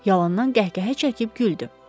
Yalandan qəhqəhə çəkib güldü.